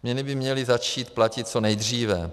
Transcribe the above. Změny by měly začít platit co nejdříve.